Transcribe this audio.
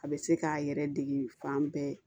A bɛ se k'a yɛrɛ dege fan bɛɛ